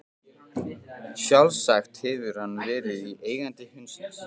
Sjálfsagt hefur hann verið eigandi hundsins.